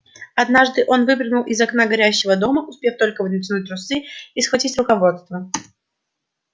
однажды он выпрыгнул из окна горящего дома успев только натянуть трусы и схватить руководство